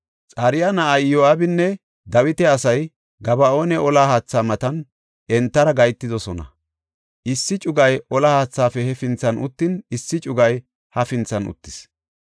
Xaruya na7ay Iyo7aabinne Dawita asay Gaba7oona olla haatha matan entara gahetidosona. Issi cugay olla haathaafe hefinthan uttin, issi cugay hafinthan uttis.